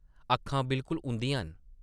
अक्खां बिल्कुल उंʼदियां न ।